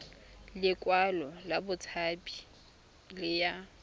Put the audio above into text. lekwalo la botshabi le ya